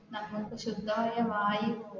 നമുക്ക് ശുദ്ധമായ വായു